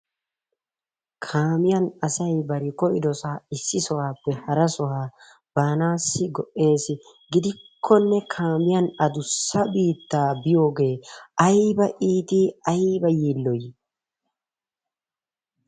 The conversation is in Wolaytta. Kaamiyaa asay bari koyyidoosa, issi sohuwappe hara sohaa baanassi go"essi gidikkonne kaamiyaan addussa biittaa biyooge aybba iitti aybba yiiloy!